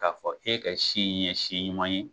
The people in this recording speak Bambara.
Ka fɔ e ka si in ye si ɲuman ye.